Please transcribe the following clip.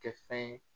Kɛ fɛn ye